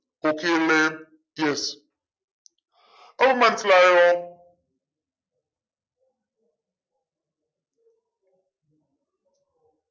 okay അല്ലെ yes അപ്പൊ മനസ്സിലായോ